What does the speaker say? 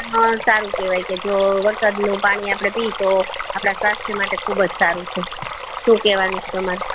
સારું કેવાય કે જો વરસાદ નું પાણી આપડે પીએ તો આપદા સ્વસ્થ માટે ઘણુય સારું છે સુ કેવાનું છે તમારું